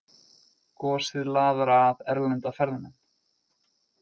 Gosið laðar að erlenda ferðamenn